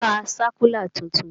Kọ sákúlà tuntun!